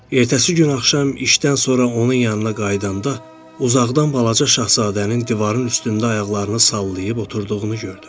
Ertəsi gün axşam işdən sonra onun yanına qayıdanda, uzaqdan Balaca Şahzadənin divarın üstündə ayaqlarını sallayıb oturduğunu gördüm.